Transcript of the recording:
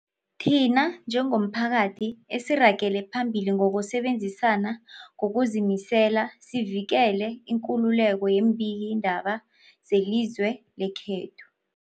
Thina njengomphakathi, asiragele phambili ngokusebenzisana ngokuzimisela sivikele ikululeko yeembikiindaba zelizwe lekhethu.